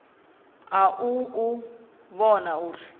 ha u u vhona uri